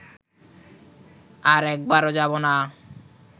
আর একবারও যাব না